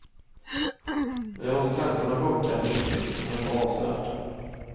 Vi har låtit räntorna sjunka försiktigt, men ändå avsevärt.